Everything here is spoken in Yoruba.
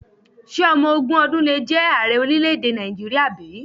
Ṣé ọmọ ogún ọdún le jẹ ààrẹ orílẹ̀-èdè Nàìjíríà bí?